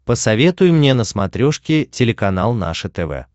посоветуй мне на смотрешке телеканал наше тв